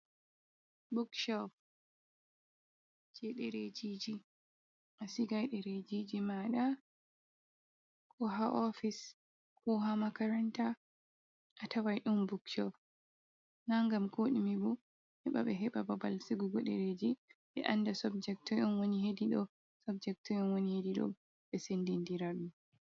"Bukcop" jey ɗereejiiji, a sigay ɗereejiiji maaɗa. Koo ha "oofis" koo ha "makaranta". A taway ɗon "Bukcop" naa ngam koo ɗume bo, heɓa ɓe heɓa babal sigugo ɗereeji ɓe annda "sobjek" toy on woni heedi ɗoo. "Subject" toy on woni heedi ɗoo, ɓe senndindira ɗum.